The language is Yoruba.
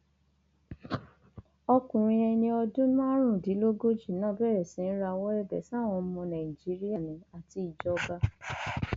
ọkùnrin ẹni ọdún márùndínlógójì náà bẹrẹ sí í rawọ ẹbẹ sáwọn ọmọ nàìjíríà ni àti ìjọba